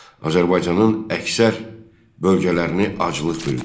Azərbaycanın əksər bölgələrini aclıq bürüdü.